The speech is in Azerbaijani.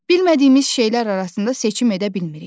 Bilmədiyimiz şeylər arasında seçim edə bilmirik.